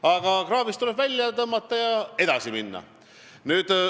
Aga siis tuleb see kraavist välja tõmmata ja edasi minna.